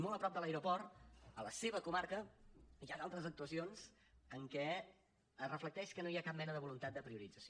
molt a prop de l’aeroport a la seva comarca hi ha d’altres actuacions en què es reflecteix que no hi ha cap mena de voluntat de priorització